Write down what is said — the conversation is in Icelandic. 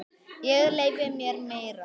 Ég leyfi mér meira.